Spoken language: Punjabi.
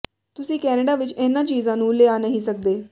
ਤੁਸੀਂ ਕੈਨੇਡਾ ਵਿਚ ਇਨ੍ਹਾਂ ਚੀਜ਼ਾਂ ਨੂੰ ਲਿਆ ਨਹੀਂ ਸਕਦੇ